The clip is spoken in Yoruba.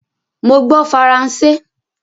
Mo gbọ́ Faransé